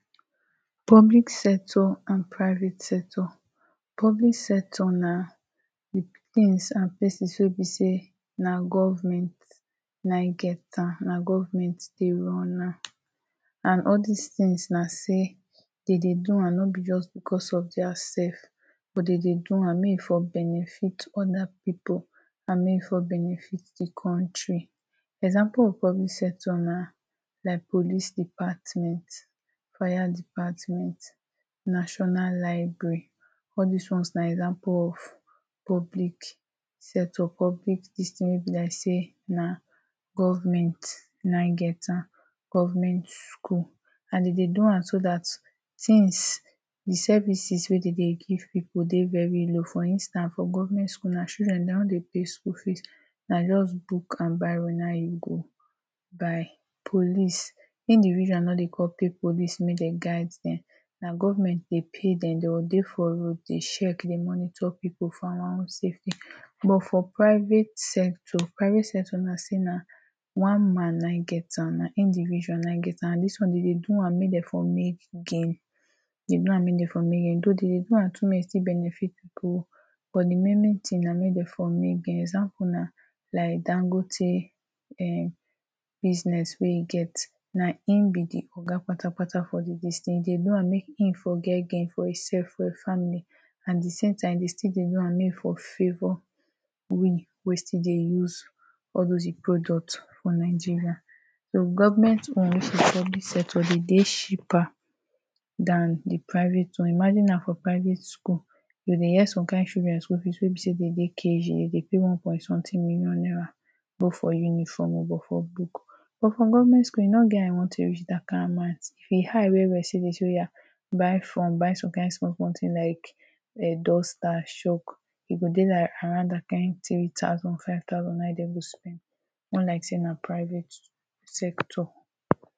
public sector and priate sector Public sector na the things and places wey be say na government na em get am na government dey run am and all this things na sey dem do am no be because of dia self but dem dey do am make em for benefit other people and make em for benefit the country example of public sector na like police department, fire department national library all this ones na example of public sector or public this thing wey be like sey na government na em get am government school and dey dey do am so that things the services wey dey dey give people dey very low for instance for government school na children dem no dey pay school fees na just book and biro na em you go buy Police individual no dey come pay police make dem guide them na government dey pay dem dem go dey for road dey check, dey monitor people for our own safety but for private sector, private sector na sey na one man na em get am na individual na em get am this one dem dey do am make dem for make gain dey do am make dem for make gain though dem dey do am to make em for benefit people but the main main thing na make dem for make gain example na like dangote um business wey em get na im be the oga kpatakpata for this thing em dey do am make em for make gain for em self ,for im family and the same time dem dey do am make im for favor we wey still dey use all those em product for Nigeria so Government own which is public sector dem dey cheaper than the private one imagine now for private school you go dey hear some kind children school fees wey be sey dem dey KG dem dey pay one point something million naira both for uniform o both for books but for government school e no get how e wan take come reach that kind amount if e high well well dem sey oya buy form buy some kind small small things like duster ,shalk e go dey like around that kind three thousand or five thousand naira na em dem go spend on like sey na private sector